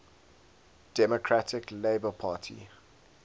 democratic labour party